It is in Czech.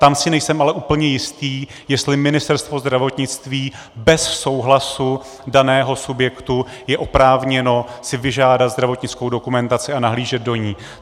Tam si nejsem ale úplně jistý, jestli Ministerstvo zdravotnictví bez souhlasu daného subjektu je oprávněno si vyžádat zdravotnickou dokumentaci a nahlížet do ní.